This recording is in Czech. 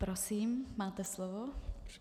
Prosím, máte slovo.